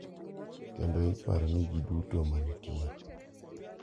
Kendo iparo ni ji duto ma nitie, .